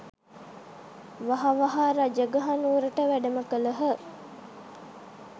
වහ වහා රජගහ නුවරට වැඩම කළහ